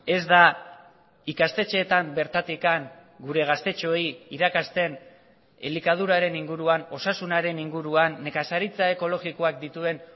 ez da ikastetxeetan bertatik gure gaztetxoei irakasten elikaduraren inguruan osasunaren inguruan nekazaritza ekologikoak dituen